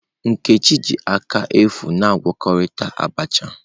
Nkechi ji aka efu na-agwakọta Abacha.